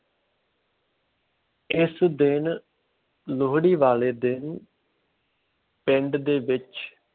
ਇਸ ਦਿਨ ਲੋਹੜੀ ਵਾਲੇ ਦਿਨ ਪਿੰਡ ਦੇ ਵਿੱਚ